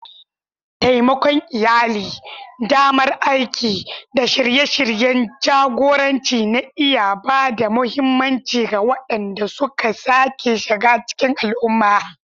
Taimakon iyali, damar aiki, da shirye-shiryen jagoranci na iya ba da mahimmanci ga waɗanda suka sake shiga cikin al'umma.